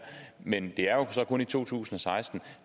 men det er kun i to tusind og seksten og